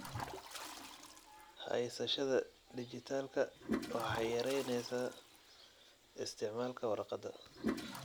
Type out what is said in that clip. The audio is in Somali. Haysashada dijitaalka ah waxay yaraynaysaa isticmaalka warqadda.